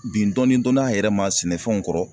Bin dɔɔni dɔɔni an yɛrɛ ma sɛnɛfɛnw kɔrɔ.